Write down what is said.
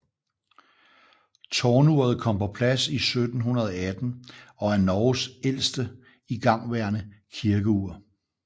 Tårnuret kom på plads i 1718 og er Norges ældste igangværende kirkeur